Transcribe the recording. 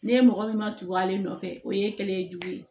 Ne mɔgɔ min ma tugu ale nɔfɛ o ye kelen ye jogo ye